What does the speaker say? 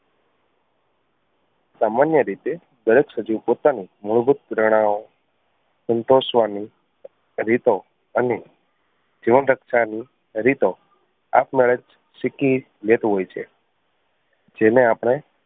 સામાન્ય રીતે દરેક સજીવ પોતાની મૂળભૂત સંતોષવાની રીતો અને જીવન રક્ષા ની રીતો આપમેળે જ શીખી લેતું હોય છે જેને આપણે